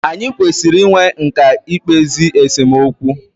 Anyị kwesịrị i nwe nkà i kpezi esemokwu.